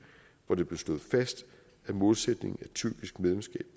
hvor det blev slået fast at målsætningen er tyrkisk medlemskab